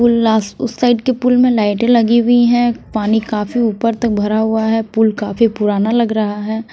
पुल उस साइड के पुल में लाइटें लगी हुई हैं पानी काफी ऊपर तक भरा हुआ है पुल काफी पुराना लग रहा है।